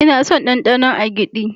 Ina son danɗanon agidi.